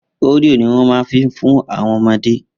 Oreo ni wọ́n ma fi fún àwọn ọmọdé